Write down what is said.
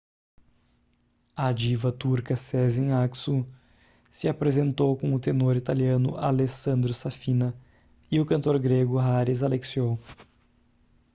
a diva turca sezen aksu se apresentou com o tenor italiano alessandro safina e o cantor grego haris alexiou